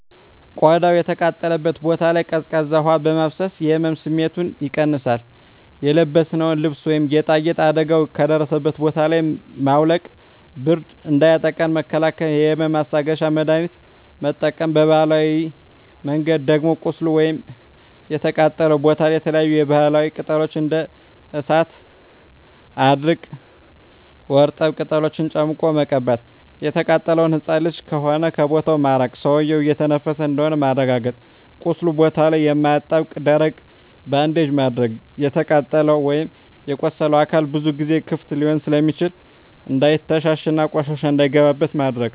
ቆዳው የተቃጠለበት ቦታ ላይ ቀዝቃዛ ውሀ በማፍሰስ የህመም ስሜቱን ይቀንሳል :የለበስነውን ልብስ ወይም ጌጣጌጥ አደጋው ከደረሰበት ቦታ ላይ ማውለቅ ብርድ እንዳያጠቃን መከላከል የህመም ማስታገሻ መድሀኒት መጠቀም በባህላዊ መንገድ ደም ቁስሉ ወይም የተቃጠለው ቦታ ላይ የተለያዪ የባህላዊ ቅጠሎች እንደ እሳት አድርቅ ወርጠብ ቅጠሎችን ጨምቆ መቀባት። የተቃጠለው ህፃን ልጅ ከሆነ ከቦታው ማራቅ ሰውዬው እየተነፈሰ እንደሆነ ማረጋገጥ ቁስሉ ቦታ ላይ የማያጣብቅ ደረቅ ባንዴጅ ማድረግ። የተቃጠለው ወይም የቆሰለው አካል ብዙ ጊዜ ክፍት ሊሆን ስለሚችል እንዳይተሻሽ እና ቆሻሻ እንዳይገባበት ማድረግ።